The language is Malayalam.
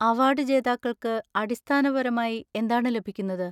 അവാർഡ് ജേതാക്കൾക്ക് അടിസ്ഥാനപരമായി എന്താണ് ലഭിക്കുന്നത്?